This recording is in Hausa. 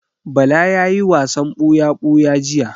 Bala ya yi wasan buya-buya jiya.